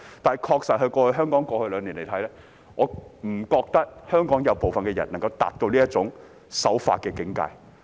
然而，回望過去兩年，我不認為部分香港人能夠達到這種守法的境界。